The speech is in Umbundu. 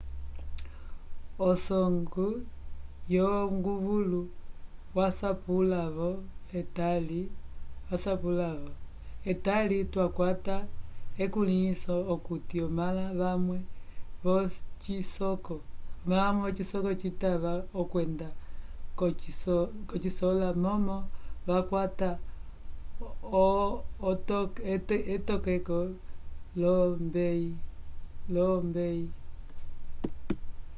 usongw wonguvulu wasapwila-vo etali twakwata ukulĩhiso okuti omãla vamwe l'ocisoko citava okwenda k'osikola momo vakwata etokeko l'olombeyi